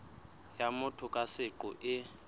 ya motho ka seqo e